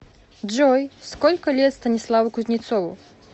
джой сколько лет станиславу кузнецову